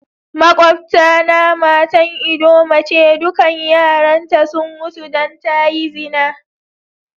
Maƙwabta na matan ldoma ce, dukan yaran ta sun mutu dan ta yi zina.